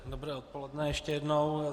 Dobré odpoledne ještě jednou.